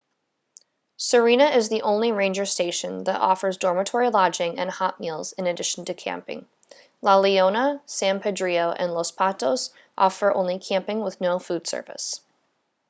sirena is the only ranger station that offers dormitory lodging and hot meals in addition to camping la leona san pedrillo and los patos offer only camping with no food service